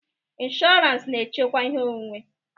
Insụranz na-echekwa ihe onwunwe.